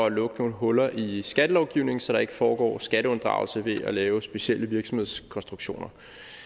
at lukke nogle huller i skattelovgivningen så der ikke foregår skatteunddragelse ved at lave specielle virksomhedskonstruktioner